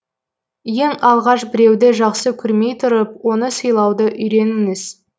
ең алғаш біреуді жақсы көрмей тұрып оны сыйлауды үйреніңіз